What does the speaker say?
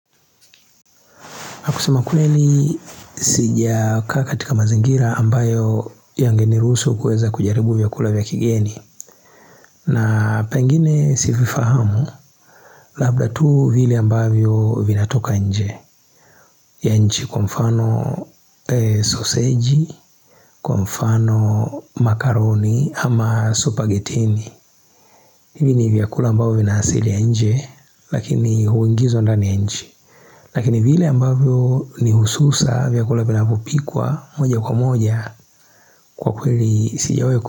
Nakusema kweli sija kaa katika mazingira ambayo yangeniruhusu kueza kujaribu vyakula vya kigeni na pengine si vifahamu labda tu vile ambavyo vinatoka nje ya nchi kwa mfano Sausage, kwa mfano, makaroni ama spaghetini. Hivi ni vyakula ambavyo vina asili ya nje lakini huingizwa ndani ya nchi lakini vile ambavyo ni hususa vyakula vinavyopikwa moja kwa moja kwa kweli sijawahi ku.